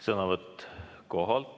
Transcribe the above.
Sõnavõtt kohalt.